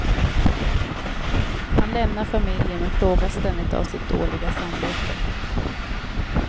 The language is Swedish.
Han lämnar familjen men plågas ständigt av sitt dåliga samvete.